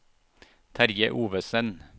Terje Ovesen